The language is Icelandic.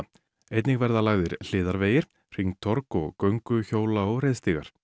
einnig verða lagðir hringtorg og göngu hjóla og reiðstígar